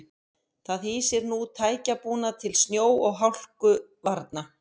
Það hýsir nú tækjabúnað til snjó og hálkuvarna.